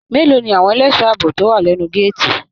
Mélòó ní àwọn ẹlẹṣọ ààbò tó wà lẹnu gàátí?